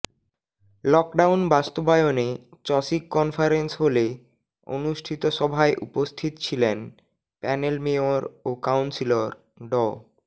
lockdown বাস্তবায়নে চসিক conference হলে অনুষ্ঠিত সভায় উপস্থিত ছিলেন প্যানেল মেয়র ও কাউন্সিলর ড